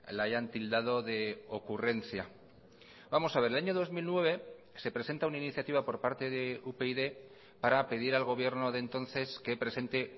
la hayan tildado de ocurrencia vamos a ver el año dos mil nueve se presenta una iniciativa por parte de upyd para pedir al gobierno de entonces que presente